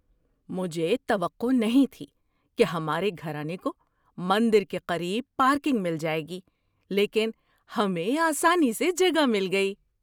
مجھے توقع نہیں تھی کہ ہمارے گھرانے کو مندر کے قریب پارکنگ مل جائے گی لیکن ہمیں آسانی سے جگہ مل گئی۔